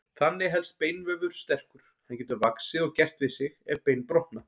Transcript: Þannig helst beinvefur sterkur, hann getur vaxið og gert við sig ef bein brotna.